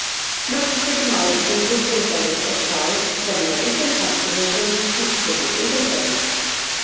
Knattspyrnumaður tengdur Grindavík er sá sem með einhverjum hætti hefur tengst knattspyrnu í Grindavík.